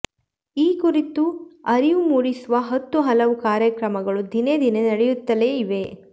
ಈ ಕುರಿತು ಅರಿವು ಮೂಡಿಸುವ ಹತ್ತು ಹಲವು ಕಾರ್ಯಕ್ರಮಗಳು ದಿನೇ ದಿನೇ ನಡೆಯುತ್ತಲೇ ಇವೆ